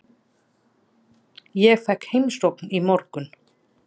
Ég fékk heimsókn í morgun.